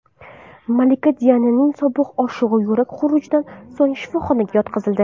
Malika Diananing sobiq oshig‘i yurak xurujidan so‘ng shifoxonaga yotqizildi.